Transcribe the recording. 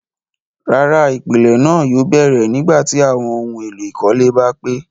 Rárá, ipilẹ̀ náà yóò bẹ̀rẹ̀ nígbàtí awọn ohun èlò ìkọ́lé bá pé